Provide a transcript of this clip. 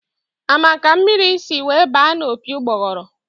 A ma ka mmiri si were baa n'opi ugboguru?